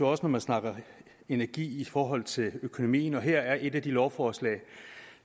også når man snakker energi i forhold til økonomi og her er et af de lovforslag